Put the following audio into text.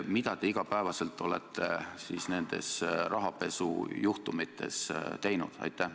Mida te olete igapäevaselt nende rahapesujuhtumitega seoses teinud?